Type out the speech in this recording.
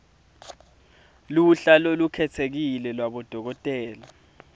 luhla lolukhetsekile lwabodokotela